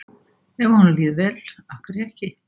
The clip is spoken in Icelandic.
Ef að honum líður vel, af hverju ekki?